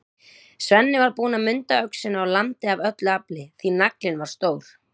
Svenni var búinn að munda öxina og lamdi af öllu afli, því naglinn var stór.